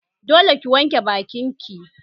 Dole ki wanke bakin ki!